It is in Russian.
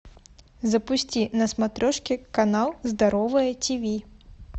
запусти на смотрешке канал здоровое тиви